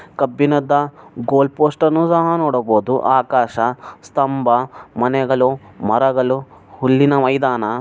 ಕಬ್ಬಿಣದ goal post ಅನ್ನು ಸಹ ನೋಡಬಹುದು ಆಕಾಶ ಸ್ತಂಭ ಮನೆಗಳು ಮರಗಳು ಹುಲ್ಲಿನ ಮೈದಾನ.